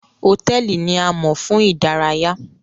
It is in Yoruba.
Hotẹẹli ni àmo fun idaraya.